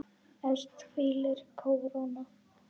Efst hvílir kóróna.